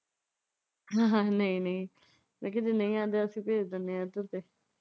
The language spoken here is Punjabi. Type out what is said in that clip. ਨਈਂ ਨਈਂ ਮੈਂ ਕਿਹਾ ਜੇ ਨਈਂ ਆਉਂਦੇ ਅਸੀਂ ਭੇਜ ਦਿਨੇ ਇਧਰ ਤੇ।